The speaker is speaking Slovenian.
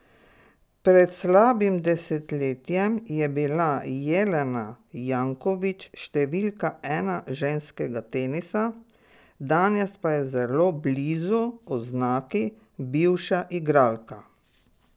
Pred slabim desetletjem je bila Jelena Janković številka ena ženskega tenisa, danes pa je zelo blizu oznaki bivša igralka.